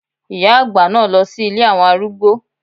Ìyá àgbà náà lọ sí ilé àwọn arúgbó.